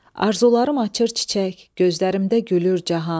Arzularım açır çiçək, gözlərimdə gülür cahan.